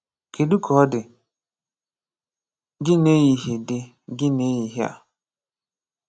Kedụ ka ọ dị gị n’ehihie dị gị n’ehihie a?